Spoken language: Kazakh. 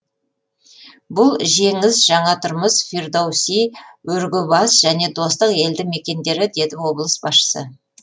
бұл жеңіс жаңа тұрмыс фердоуиси өрге бас және достық елді мекендері деді облыс басшысы